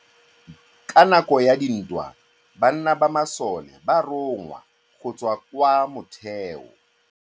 Ka nakô ya dintwa banna ba masole ba rongwa go tswa kwa mothêô.